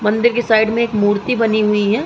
मन्दिर के साइड में एक मूर्ति बनी हुई है।